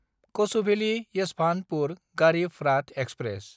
कछुभेलि–येसभान्तपुर Garib Rath express